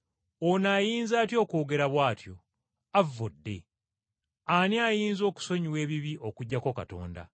“Ono ayinza atya okwogera bw’atyo? Avvodde! Ani ayinza okusonyiwa ebibi okuggyako Katonda?”